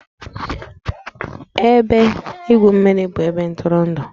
Ebe igwu mmiri bụ ebe ntụrụndụ